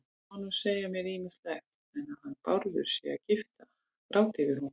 Það má nú segja mér ýmislegt, en að hann Bárður sé að gráta yfir honum